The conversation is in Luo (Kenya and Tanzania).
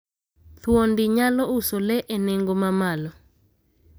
thuondi nyalo uso le e nengo mamalo.